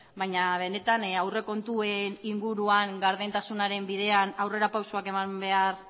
baina benetan aurrekontuen inguruan gardentasunaren bidean aurrera pausuak eman behar